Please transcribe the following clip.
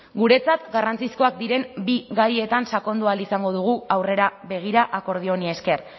guretzat garrantzizkoak diren bi gaietan sakondu ahal izango dugu aurrera begira akordio honi esker